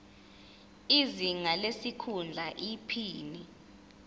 izinga lesikhundla iphini